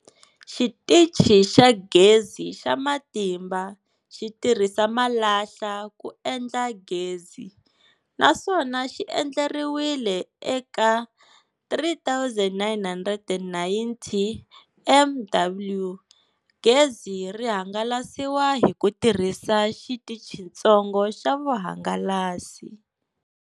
Xitichi xa Gezi xa Matimba xi tirhisa malahla ku endla gezi, naswona xi endleriwile eka 3990 MW. Gezi ri hangalasiwa hi ku tirhisa xitichitsongo xa vuhangalasi.